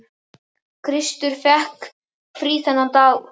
Kristur fékk frí þennan daginn og